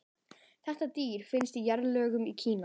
þetta dýr fannst í jarðlögum í kína